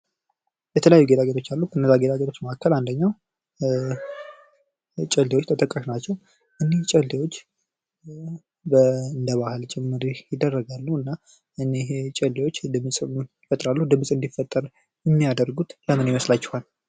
የተለያዩ ጌጣጌጦች አሉ ።ከነዛ ጌጣጌጦች መካከል አንደኛው ጨሌዎች ተጠቃሽ ናቸው። እነዚህ ጨሌዎች እንደ ባህል ጭምር ይደረጋሉ ።እና እነዚህ ጨሌዎች ድፅም እንዲፈጠር የሚያደርጉት ለምን ይመስላቸዋል?